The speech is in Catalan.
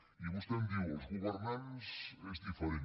i vostè em diu els governants és diferent